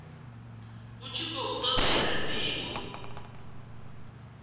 hu tshi khou todea ndivho